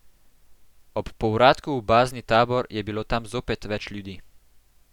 Ob povratku v bazni tabor je bilo tam zopet več ljudi.